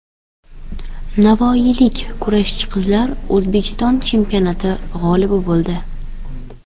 Navoiylik kurashchi qizlar O‘zbekiston chempionati g‘olibi bo‘ldi.